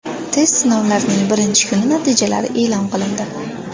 Test sinovlarining birinchi kuni natijalari e’lon qilindi.